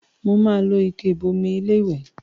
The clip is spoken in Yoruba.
Màá lo ike ìbomi iléwẹ̀